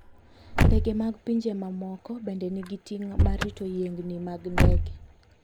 Ndege mag pinje mamoko bende nigi ting' mar rito yiengini mag ndege.